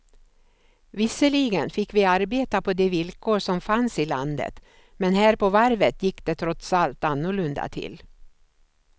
Visserligen fick vi arbeta på de villkor som fanns i landet men här på varvet gick det trots allt annorlunda till.